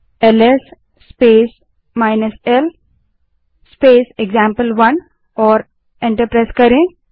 अब LS space l space example1टाइप करें और एंटर दबायें